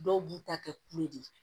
Dɔw b'u ta kɛ kule